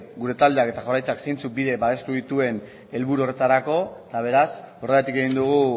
gure taldeak eta jaurlaritzak zeintzuk bide babestu dituen helburu horretarako eta beraz horregatik egin dugu